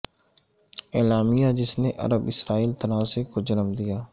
اعلامیہ جس نے عرب اسرائیل تنازعے کو جنم دیا